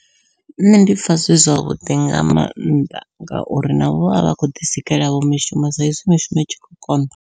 Nṋe ndi pfha zwi zwavhuḓi nga maanḓa, ngauri navho vha vha khou ḓi sikela vho mishumo sa izwi mishumo i tshi khou konḓa.